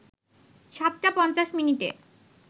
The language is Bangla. ৭ টা ৫০ মিনিটে